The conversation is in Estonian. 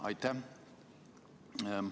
Aitäh!